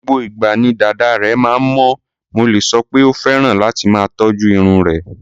Gbogbo ìgbà ni dàda rẹ̀ máa ń mọ́, mo lè sọ pé ó fẹ́ràn láti máa tọ́jú irun rẹ̀.